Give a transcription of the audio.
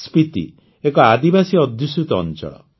ସ୍ପିତି ଏକ ଆଦିବାସୀ ଅଧ୍ୟୁଷିତ ଅଂଚଳ